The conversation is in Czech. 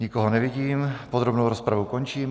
Nikoho nevidím, podrobnou rozpravu končím.